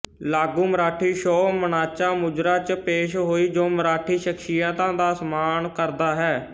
ਲਾਗੂ ਮਰਾਠੀ ਸ਼ੋਅ ਮਾਨਾਚਾ ਮੁਜ਼ਰਾ ਚ ਪੇਸ਼ ਹੋਈ ਜੋ ਮਰਾਠੀ ਸ਼ਖਸੀਅਤਾਂ ਦਾ ਸਨਮਾਨ ਕਰਦਾ ਹੈ